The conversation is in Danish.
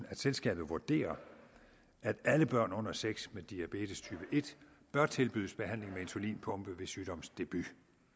at selskabet vurderer at alle børn under seks år med diabetestype en bør tilbydes behandling med insulinpumpe ved sygdomsdebut